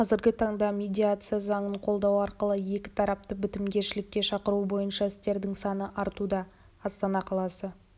қазіргі таңда медиация заңын қолдану арқылы екі тарапты бітімгершілікке шақыру бойынша істердің саны артуда астана қаласы